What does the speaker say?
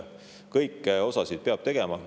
Kõike peab tegema.